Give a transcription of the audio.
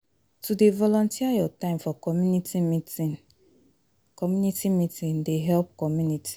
To dey volunteer your time for community meeting community meeting dey help community